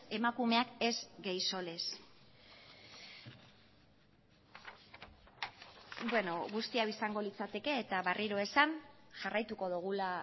emakumeak ez gaixo lez guzti hau izango litzateke eta berriro esan jarraituko dugula